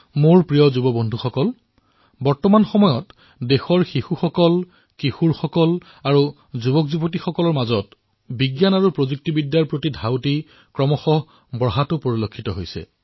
মোৰ মৰমৰ যুৱ বন্ধুসকল আজিকালি আমাৰ দেশৰ লৰাছোৱালীসকলৰ মাজত যুৱ প্ৰজন্মৰ মাজত বিজ্ঞান আৰু প্ৰযুক্তিৰ প্ৰতি স্পৃহা বৃদ্ধি হবলৈ ধৰিছে